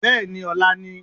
beeni! ọla ni